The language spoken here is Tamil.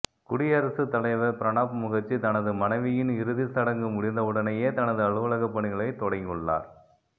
குடியரசு தலைவர் பிரணாப் முகர்ஜி தனது மனைவியின் இறுதிச் சடங்கு முடிந்தவுடனேயே தனது அலுவலக பணிகளை தொடங்கியுள்ளார்